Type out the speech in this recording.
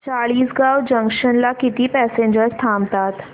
Chalisgaon junction ला किती passengers थांबतात